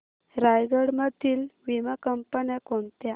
रायगड मधील वीमा कंपन्या कोणत्या